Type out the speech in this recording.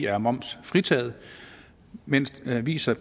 er momsfritaget mens aviser